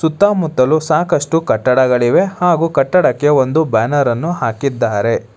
ಸುತ್ತಮುತ್ತಲು ಸಾಕಷ್ಟು ಕಟ್ಟಡಗಳಿವೆ ಹಾಗು ಕಟ್ಟಡಕ್ಕೆ ಒಂದು ಬ್ಯಾನರ್ ಅನ್ನು ಹಾಕಿದ್ದಾರೆ.